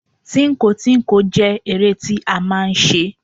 Tínko tínko jẹ́ eré tí a máà ń ṣe.